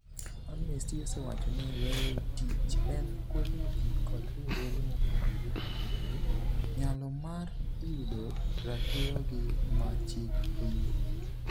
Amnesty osewacho ni weyo tich en kwedo ji kod riwruoge mopogore opogore nyalo mar yudo ratirogi ma chik oyiego.